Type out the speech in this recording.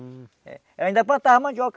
Ela ainda plantava mandioca.